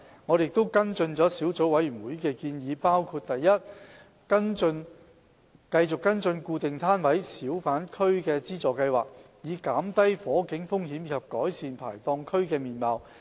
我們跟進了小組委員會的建議，包括： a 繼續跟進固定攤位小販區資助計劃，以減低火警風險及改善排檔區的面貌。